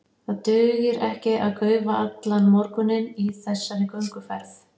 Það dugir ekki að gaufa allan morguninn í þessari gönguferð.